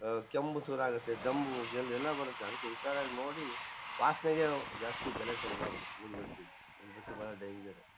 ಅಹ್ ಕೆಮ್ಮ್ ಶುರು ಆಗತ್ತೆ ಧಮ್ಮು ಎಲ್ ಎಲ್ಲ ಬರತ್ತೆ ಅದಿಕ್ಕೆ ಹುಷಾರಾಗ್ ನೋಡಿ ವಾಸ್ನೆಗೆ ಜಾಸ್ತಿ ಬೆಲೆ ಕೊಡ್ಬಾರ್ದು ಉದ್ಬತ್ತಿ ಉದ್ಬತ್ತಿಬಾಳ ಡೇಂಜರ್ --